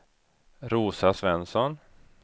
Rosa Svensson